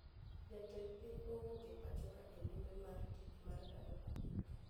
Jatend piny owuok e pachoka e limbe mar tich mar ndalo adek